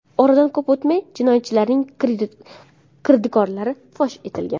Oradan ko‘p vaqt o‘tmay jinoyatchilarning kirdikorlari fosh etilgan.